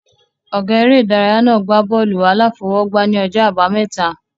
Ọ̀gá eré ìdárayá náà gbá bọ́ọ̀lù-aláfọwọ́gbá ní ọjọ́ àbámẹ́ta